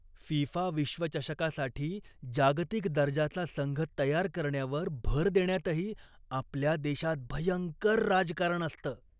FIFA विश्वचषकासाठी जागतिक दर्जाचा संघ तयार करण्यावर भर देण्यातही आपल्या देशात भयंकर राजकारण असतं.